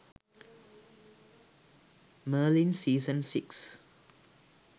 merlin season 6